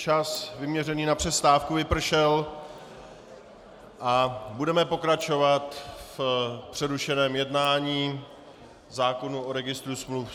Čas vyměřený na přestávku vypršel a budeme pokračovat v přerušeném jednání zákona o registru smluv.